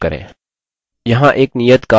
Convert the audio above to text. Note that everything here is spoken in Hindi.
यहाँ एक नियत कार्य है: